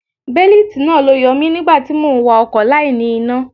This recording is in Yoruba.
Bélítì náà ló yọ mi nígbà tí mò ń wa ọkọ̀ láì ní iná.